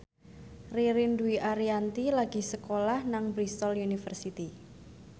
Ririn Dwi Ariyanti lagi sekolah nang Bristol university